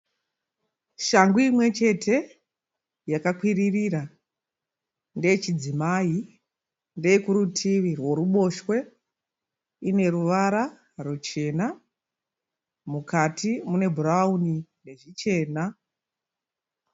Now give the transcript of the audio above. Shangu imwe chete yakakwirira. Ndeyei chidzimai, ndeyei kurutivi rweruboshwe. Ine ruvara ruchena mukati mune bhurauni nezvichena.